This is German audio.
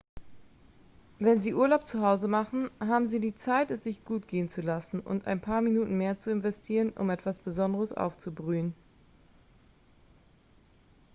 wenn sie urlaub zu hause machen haben sie die zeit es sich gut gehen zu lassen und ein paar minuten mehr zu investieren um etwas besonderes aufzubrühen